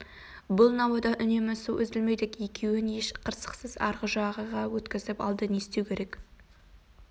бұл науадан үнемі су үзілмейді екеуін еш қырсықсыз арғы жағаға өткізіп алды не істеу керек